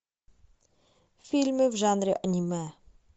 фильмы в жанре аниме